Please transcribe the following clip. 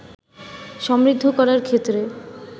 সমৃদ্ধ করার ক্ষেত্রে